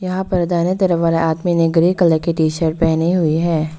यहां पर दाहिने तरफ वाले आदमी ने ग्रे कलर की टी शर्ट पहनी हुई है।